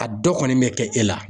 A dɔ kɔni bɛ kɛ e la.